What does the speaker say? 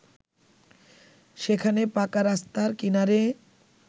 সেখানে পাকা রাস্তার কিনারে